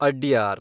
Adyar